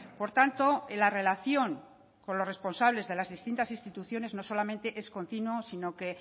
por tanto en la relación con los responsables de las distintas instituciones no solamente es continuo sino que